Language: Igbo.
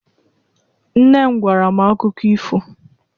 Nne m gwara m akụkọ ifo.